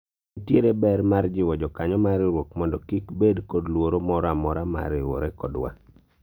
nitiere ber mar jiwo jokanyo mar riwruok mondo kik bed kod luoro moro amora mar riwore kodwa